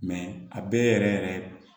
a bɛɛ yɛrɛ yɛrɛ